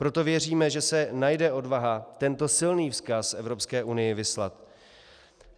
Proto věříme, že se najde odvaha tento silný vzkaz Evropské unii vyslat.